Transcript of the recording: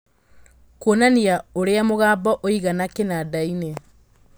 kuonania ũrĩa mũgambo ũigana kinandaini